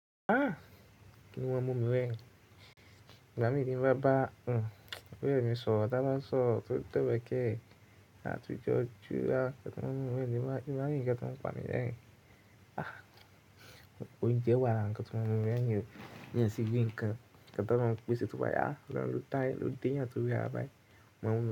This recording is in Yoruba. Ah! Wọ́n mú mi rẹrin. Mama mi kí n bá bá, hn, ọ̀rẹ́ mi sọ, dada sọ, tó, tó wẹkẹ́, àti jọ jú a, kí wọn mú mi wẹ́rẹ́ ní bá, ìbá mi kí wọn pa mi wẹ́rẹ́. Ah! Oúnjẹ wà kí wọn mú mi wẹ́rẹ́, kí wọn yàn sí bí nǹkan kí wọn tó máa ń pèsè tó bá yá, lọ́lọ́ táyà ló dín ẹ́ àti wẹ́rẹ́ báyìí. Mọ́mú.